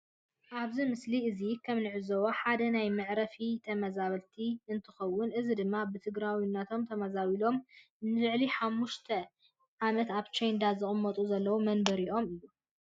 ኣብዚ ምስሊ እዚ ከም እንዕዘቦ ሓደ ናይ መዕረፊ ተመዛበልቲ እንትኮን እዚ ድማ ብትግራዋይነቶም ተመዛቢሎም ንልዕሊ 5 ዓመት ኣብ ቻንዳ ዝቅመጡ ዘለዉ መንበሪኦም እዩ።